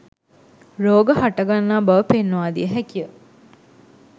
රෝග හට ගන්නා බව පෙන්වා දිය හැකිය.